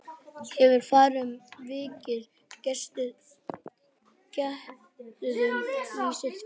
Hefurðu farið um virkið, geturðu lýst því?